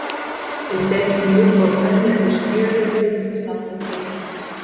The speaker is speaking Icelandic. Við steikjum rjúpu á pönnu upp úr smjöri og kryddum með salti og pipar.